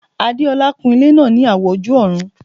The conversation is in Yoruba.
Adeola kun ilẹ́ náà ní àwọ̀ ojú-ọ̀run